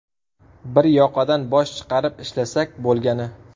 Bir yoqadan bosh chiqarib ishlasak bo‘lgani.